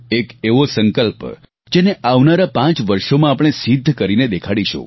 એક એવો સંકલ્પ જેને આવનારા પાંચ વર્ષોમાં આપણે સિદ્ધ કરીને દેખાડીશું